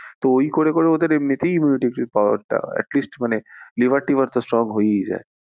তো ওই করে করে ওদের এমনি তেই immunity power টা মানে liver ভিটার তো strong হয়েই যায়।